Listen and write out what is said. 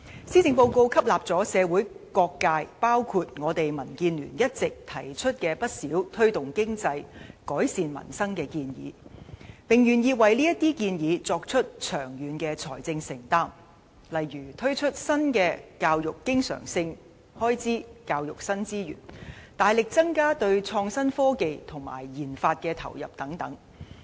施政報告吸納了社會各界一直提出的推動經濟、改善民生的不少建議，並願意為這些建議作出長遠的財政承擔，例如增加教育經常性開支和提供教育新資源、大幅增加對創新科技及研發的投入等。